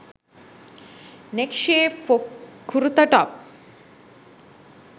neck shape for kurta top